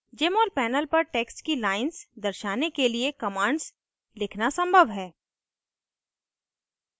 jmol panel पर text की lines दर्शाने के लिए commands लिखना संभव है